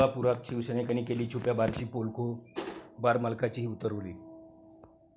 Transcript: कोल्हापुरात शिवसैनिकांनी केली छुप्या बारची पोलखोल, बारमालकाचीही 'उतरवली'